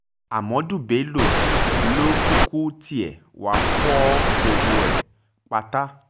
ahmadu bello ló kúkú tiẹ̀ wáá fọ gbogbo ẹ̀ pátá